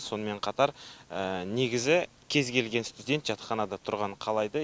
сонымен қатар негізі кез келген студент жатақханада тұрғанын қалайды